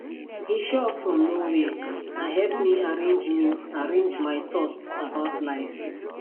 he show up from nowhere and help me arrange me arrange my thoughts about life